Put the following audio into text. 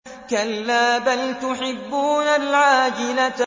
كَلَّا بَلْ تُحِبُّونَ الْعَاجِلَةَ